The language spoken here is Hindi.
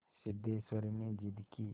सिद्धेश्वरी ने जिद की